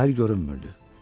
Sahil görünmürdü.